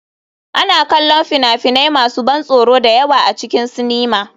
Ana kallon fina-finai masu ban tsoro da yawa a cikin sinima.